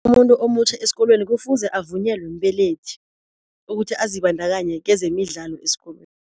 Umuntu omutjha esikolweni kufuze avunyelwe mbelethi ukuthi azibandakanye kezemidlalo esikolweni.